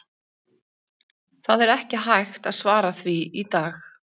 Það er ekki hægt að svara því í dag.